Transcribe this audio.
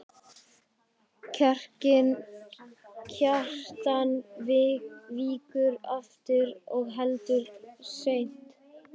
Kjartan víkur aftur og heldur seint.